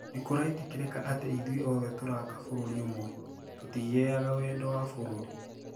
Nikuraitikirika ati ithue othe turaaka bururi umwe, tutigeaga wendo wa bũrũrĩ.